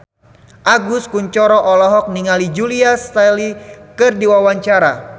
Agus Kuncoro olohok ningali Julia Stiles keur diwawancara